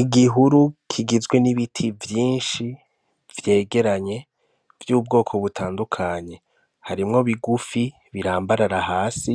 Igihuru kigizwe n'ibiti vyinshi, vyegeranye, vy'ubwoko butandukanye. Harimwo bigufi birambarara hasi,